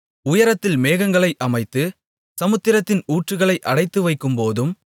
உயரத்தில் மேகங்களை அமைத்து சமுத்திரத்தின் ஊற்றுகளை அடைத்துவைக்கும்போதும்